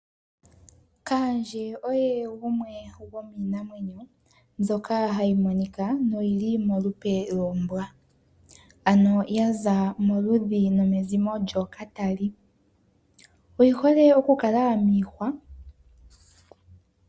Kaandje oye gumwe gomiinamwenyo mbyoka hayi monika noyi li molupe lombwa, ano ya za moludhi nomezimo lyookatali. Oyi hole oku kala miihwa.